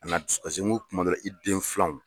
An'a dusu kasi n ko kuma dɔw la, i den filanw